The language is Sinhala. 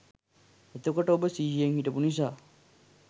එතකොට ඔබ සිහියෙන් හිටපු නිසා